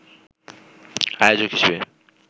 আয়োজক হিসেবে